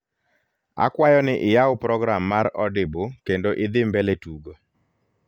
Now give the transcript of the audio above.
akwayo ni iyaw program mar audible kendo idhi mbele tugo